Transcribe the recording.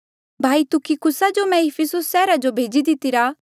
भाई तुखिकुस जो मैं इफिसुस सैहरा जो भेजी दितिरा